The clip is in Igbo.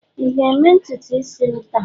ị ga-eme ntutu isi m taa?